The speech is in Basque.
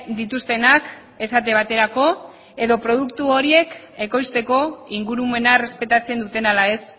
dituztenak esate baterako edo produktu horiek ekoizteko ingurumena errespetatzen duten ala ez